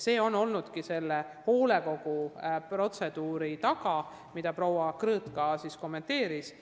See ongi olnud hoolekogu protseduuri taga, mida ka proua Krõõt Olo kommenteeris.